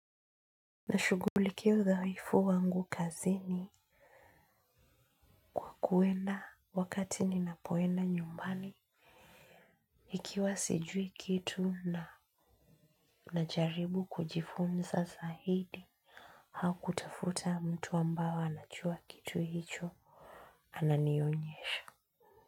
Na shugulikia udhaifu wangu kazini kuwenda wakati ninapowena nyumbani ikiwa sijui kitu na najaribu kujifunza sahidi hau kutafuta mtu ambao anachua kitu hicho ananionyesha.